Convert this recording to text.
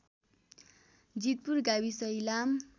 जितपुर गाविस इलाम